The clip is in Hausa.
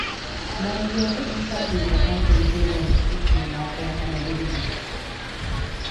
Na biya kuɗin sabunta katin shaidar tuƙina ta yanar gizo.